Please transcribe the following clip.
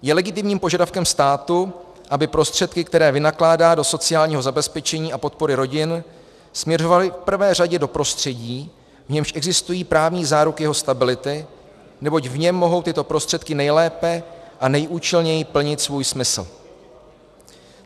Je legitimním požadavkem státu, aby prostředky, které vynakládá do sociálního zabezpečení a podpory rodin, směřovaly v prvé řadě do prostředí, v němž existují právní záruky jeho stability, neboť v něm mohou tyto prostředky nejlépe a nejúčelněji plnit svůj smysl.